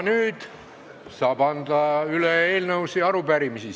Nüüd aga saab anda üle eelnõusid ja arupärimisi.